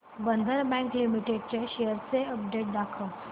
बंधन bank limited च्या shares ची update दाखव